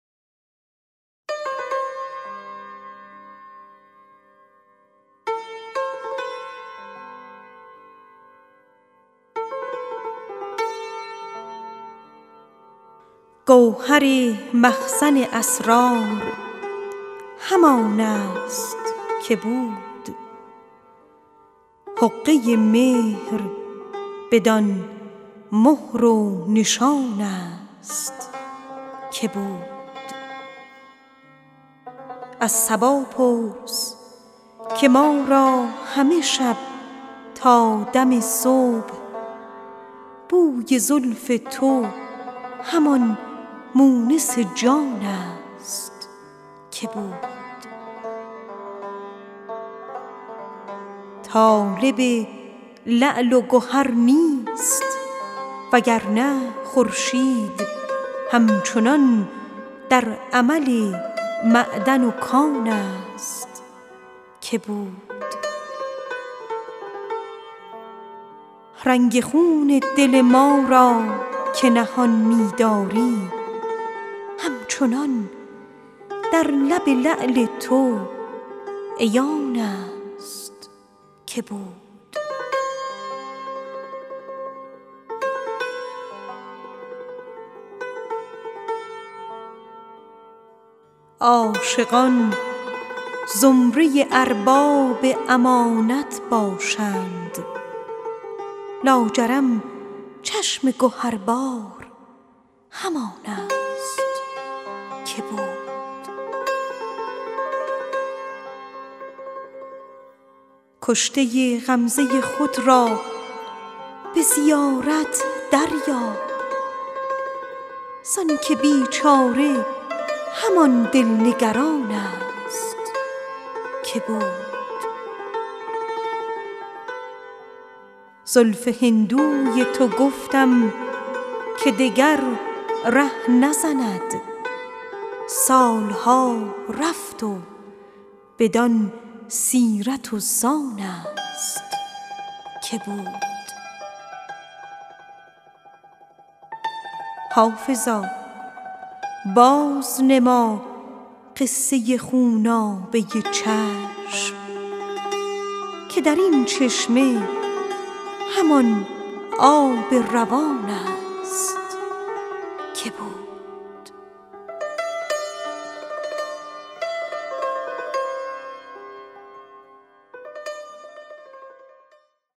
گوهر مخزن اسرار همان است که بود حقه مهر بدان مهر و نشان است که بود عاشقان زمره ارباب امانت باشند لاجرم چشم گهربار همان است که بود از صبا پرس که ما را همه شب تا دم صبح بوی زلف تو همان مونس جان است که بود طالب لعل و گهر نیست وگرنه خورشید هم چنان در عمل معدن و کان است که بود کشته غمزه خود را به زیارت دریاب زانکه بیچاره همان دل نگران است که بود رنگ خون دل ما را که نهان می داری همچنان در لب لعل تو عیان است که بود زلف هندوی تو گفتم که دگر ره نزند سال ها رفت و بدان سیرت و سان است که بود حافظا بازنما قصه خونابه چشم که بر این چشمه همان آب روان است که بود